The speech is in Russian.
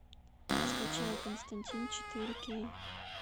скачай константин четыре кей